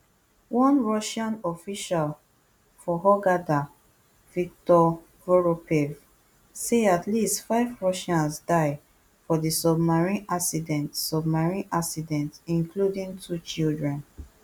one russian official for hurghada viktor voropaev say at least five russians die for di submarine accident submarine accident including two children